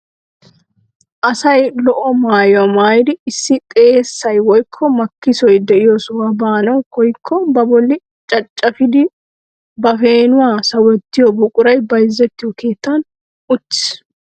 Asay lo"o maayuwaa maayidi issi xeessay woykko makkisoy de'iyoo sohuwaa baanawu koyyiko ba bolli caccafidi ba peenuwaa sawettiyoo buquray bayzziyoo keettan uttiis.